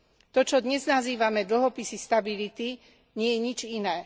To, čo dnes nazývame dlhopisy stability, nie je nič iné.